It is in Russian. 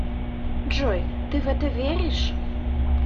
джой ты в это веришь